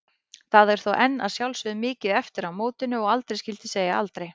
Það er þó enn að sjálfsögðu mikið eftir að mótinu og aldrei skyldi segja aldrei.